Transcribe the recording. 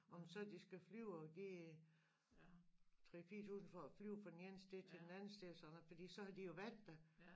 Om så de skal flyve og give 3 4000 for at flyve fra den ene sted til den anden sted sådan for så har de jo været der